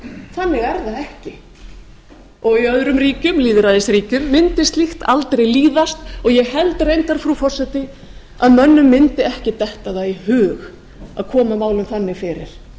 þannig er það ekki í öðrum lýðræðisríkjum mundi slíkt aldrei líðast og ég held reyndar frú forseti að mönnum mundi ekki detta það í hug að koma málum þannig fyrir